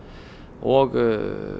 og